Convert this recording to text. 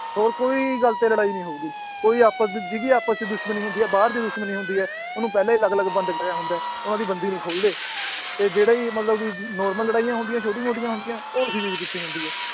ਹੋਰ ਕੋਈ ਗੱਲ ਤੇ ਲੜਾਈ ਨੀ ਹੋਊਗੀ ਕੋਈ ਆਪਸ ਜਿਹਦੀ ਆਪਸ 'ਚ ਦੁਸ਼ਮਣੀ ਹੁੰਦੀ ਹੈ ਬਾਹਰ ਦੀ ਦੁਸ਼ਮਣੀ ਹੁੰਦੀ ਹੈ, ਉਹਨੂੰ ਪਹਿਲਾਂ ਹੀ ਅਲੱਗ ਅਲੱਗ ਬੰਦ ਕਰਿਆ ਹੁੰਦਾ ਹੈ ਉਹਨਾਂ ਦੀ ਬੰਦੀ ਨੀ ਖੋਲਦੇ, ਤੇ ਜਿਹੜੇ ਵੀ ਮਤਲਬ ਕਿ normal ਲੜਾਈਆਂ ਹੁੰਦੀਆਂ ਛੋਟੀ ਮੋਟੀਆਂ ਹੁੰਦੀਆਂ ਉਹ ਇਸੇ ਚੀਜ਼ ਪਿੱਛੇ ਹੁੰਦੀ ਹੈ